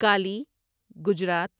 Kali Gujarat